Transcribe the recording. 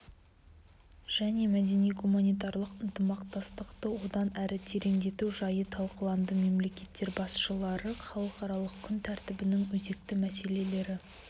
және мәдени-гуманитарлық ынтымақтастықты одан әрі тереңдету жайы талқыланды мемлекеттер басшылары халықаралық күн тәртібінің өзекті мәселелері